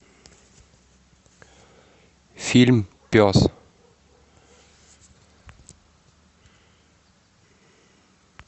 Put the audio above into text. фильм пес